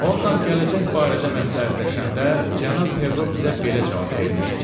Ondan gələcək barədə məsləhətləşəndə cənab Perro bizə belə cavab vermişdi: